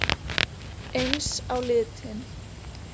Eins á litin.